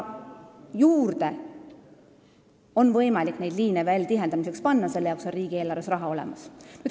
Tihendamiseks on võimalik liine veel juurde panna, selle jaoks on riigieelarves raha olemas.